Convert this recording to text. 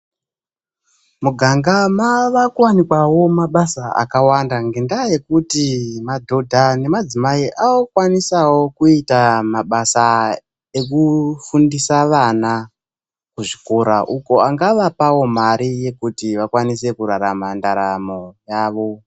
Muganga mava kuwanikwawo mabasa akawanda ngekuti madhodha nemadzimai akukwanisawo kuitawo mabasa ekuti vafundise vana muzvikora uko angavapawo Mari yekuti vakwanise kurarama.